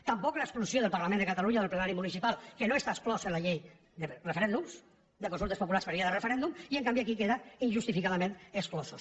tampoc l’exclusió del parlament de catalunya o del plenari municipal que no està exclòs en la llei de referèndums de consultes populars per via de referèndum i en canvi aquí queden injustificadament exclosos